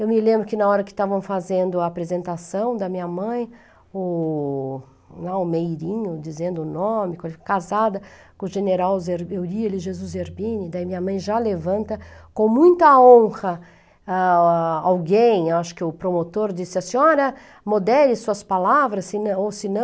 Eu me lembro que na hora que estavam fazendo a apresentação da minha mãe, o almeirinho, dizendo o nome, casada com o general Eurílio Jesus Zerbini, daí minha mãe já levanta, com muita honra, ah, alguém, acho que o promotor, disse, a senhora, modere suas palavras, ou se não, se não,